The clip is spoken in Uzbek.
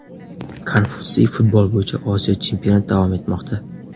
Konfutsiy Futbol bo‘yicha Osiyo chempionat davom etmoqda.